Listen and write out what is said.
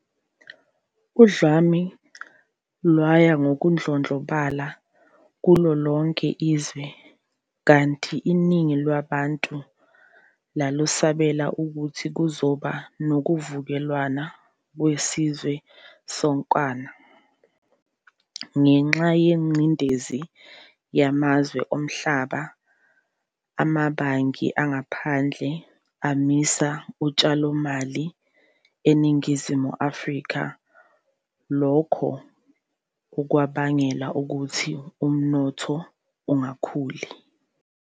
Udlame lwaya ngokudlondlobala kulo lonke izwe, kanti iningi labantu lalesabela ukuthi kuzoba nokuvukelwana kwesizwe sonkana. Ngenxa yengcindezi yamazwe omhlaba, amabhangi angaphandle amisa utshalomali eNingizimu Afrika, lokhu okwabangela ukuthi umnotho ungakhuli.